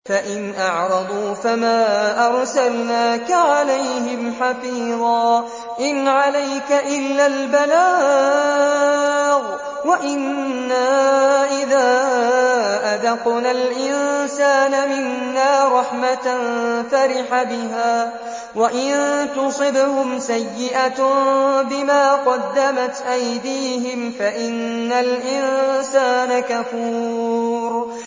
فَإِنْ أَعْرَضُوا فَمَا أَرْسَلْنَاكَ عَلَيْهِمْ حَفِيظًا ۖ إِنْ عَلَيْكَ إِلَّا الْبَلَاغُ ۗ وَإِنَّا إِذَا أَذَقْنَا الْإِنسَانَ مِنَّا رَحْمَةً فَرِحَ بِهَا ۖ وَإِن تُصِبْهُمْ سَيِّئَةٌ بِمَا قَدَّمَتْ أَيْدِيهِمْ فَإِنَّ الْإِنسَانَ كَفُورٌ